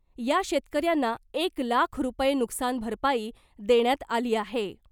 या शेतकऱ्यांना एक लाख रूपये नुकसान भरपाई देण्यात आली आहे .